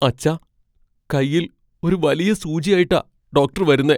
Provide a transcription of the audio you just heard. അച്ഛാ, കയ്യിൽ ഒരു വലിയ സൂചിയായിട്ടാ ഡോക്ടർ വരുന്നേ.